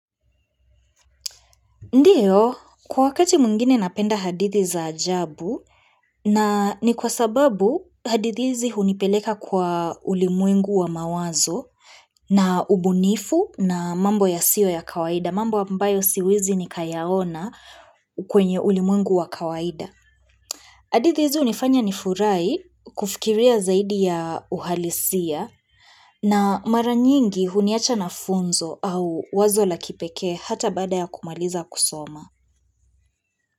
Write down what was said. Ndiyo, kwa wakati mwingine napenda hadithi za ajabu na ni kwa sababu hadithi hizi hunipeleka kwa ulimwengu wa mawazo na ubunifu na mambo yasio ya kawaida, mambo ambayo siwezi nikayaona kwenye ulimwengu wa kawaida. Hadithi hizi hunifanya nifurahi kufikiria zaidi ya uhalisia na mara nyingi huniacha na funzo au wazo la kipeke hata bada ya kumaliza kusoma.